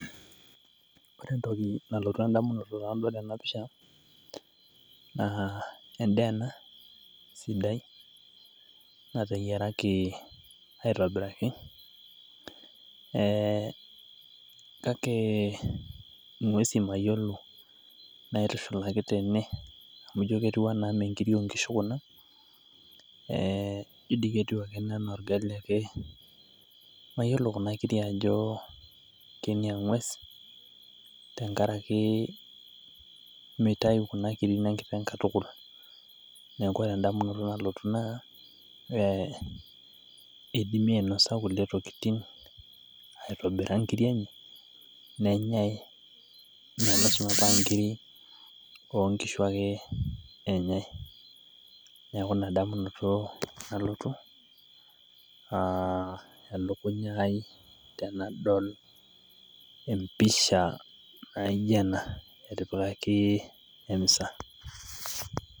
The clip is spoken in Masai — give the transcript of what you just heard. Koree entoki nalotu endamunoto tenadol ena pisha naa endaa ena sidai natayaraki aitobiraki kake ngwesi mayolo naitushulaki tene amu ijo ketiu anaa mee enkirri oonkishu kuna, ijo dei ketiu ake ana olgali ake, mayolo kuna kirrii ajo kee ne eng'wes tengaraki meitayu kuna kirri ne inkiteng' katukul, neaku endamunoto nalotu naa peidimi ainosa kule tokitin aitobira inkirri enye nenyei mee lasima metaa inkirri oonkishu ake enyei, naaku ina damunoto nalotu olokunya aai tenadol empisha naaijo ena.